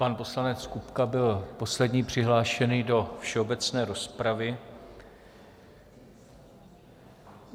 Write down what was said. Pan poslanec Kupka byl poslední přihlášený do všeobecné rozpravy.